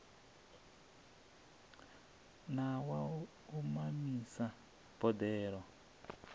na wa u mamisa boḓelo